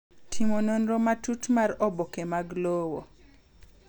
Timo nonro matut mar oboke mag lowo.